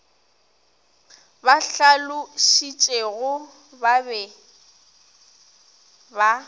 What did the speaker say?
ba hlalošitšegore ba be ba